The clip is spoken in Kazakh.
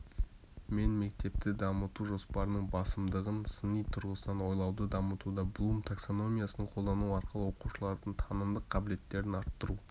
мен мектепті дамыту жоспарының басымдығын сыни тұрғысынан ойлауды дамытуда блум таксономиясын қолдану арқылы оқушылардың танымдық қабілеттерін арттыру